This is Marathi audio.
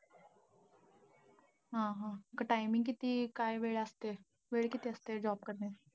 हा हा. timing किती, काय वेळ आहे तरी, वेळ किती असते job करण्याची?